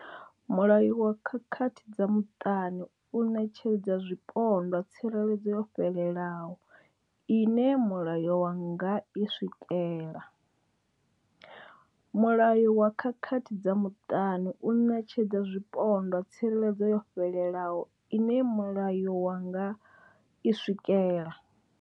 Mulayo wa khakhathi dza muṱani u ṋetshedza zwipondwa tsireledzo yo fhelelaho ine mulayo wa nga i swikela. Mulayo wa khakhathi dza muṱani u ṋetshedza zwipondwa tsireledzo yo fhelelaho ine mulayo wa nga i swikela.